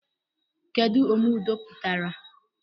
Kedụ omeudo pụtara?